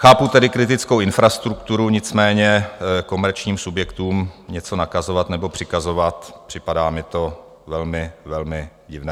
Chápu tedy kritickou infrastrukturu, nicméně komerčním subjektům něco nakazovat nebo přikazovat, připadá mi to velmi, velmi divné.